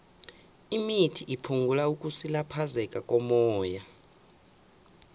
imithi iphungula ukusilaphezeka kommoya